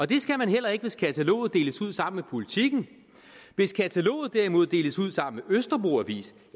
det skal der heller ikke hvis kataloget deles ud sammen med politiken hvis kataloget derimod deles ud sammen med østerbro avis